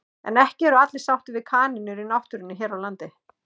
En ekki eru allir sáttir við kanínur í náttúrunni hér á landi.